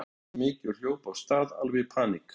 Mér brá ógeðslega mikið og hljóp af stað, alveg í paník.